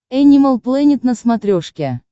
энимал плэнет на смотрешке